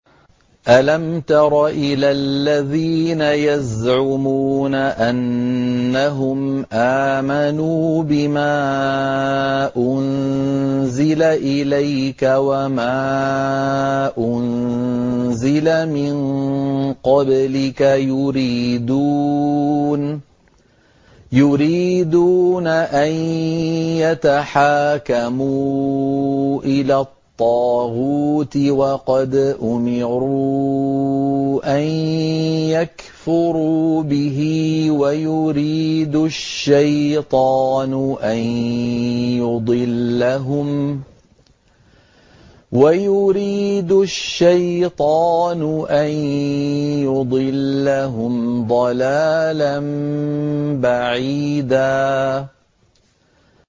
أَلَمْ تَرَ إِلَى الَّذِينَ يَزْعُمُونَ أَنَّهُمْ آمَنُوا بِمَا أُنزِلَ إِلَيْكَ وَمَا أُنزِلَ مِن قَبْلِكَ يُرِيدُونَ أَن يَتَحَاكَمُوا إِلَى الطَّاغُوتِ وَقَدْ أُمِرُوا أَن يَكْفُرُوا بِهِ وَيُرِيدُ الشَّيْطَانُ أَن يُضِلَّهُمْ ضَلَالًا بَعِيدًا